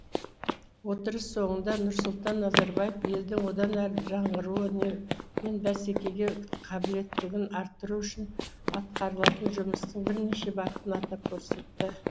отырыс соңында нұрсұлтан назарбаев елдің одан әрі жаңғыруы мен бәсекеге қабілеттілігін арттыру үшін атқарылатын жұмыстың бірнеше бағытын атап көрсетті